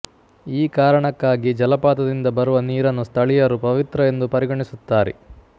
ಈ ಕಾರಣಕ್ಕಾಗಿ ಜಲಪಾತದಿಂದ ಬರುವ ನೀರನ್ನು ಸ್ಥಳೀಯರು ಪವಿತ್ರವೆಂದು ಪರಿಗಣಿಸುತ್ತಾರೆ